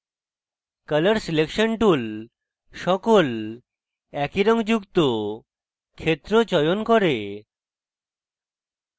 colour selection tool সকল একই রঙ যুক্ত ক্ষেত্র চয়ন করে